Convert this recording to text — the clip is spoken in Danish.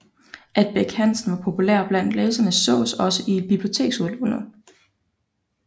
At Bech Hansen var populær blandt læserene sås også i biblioteksudlånet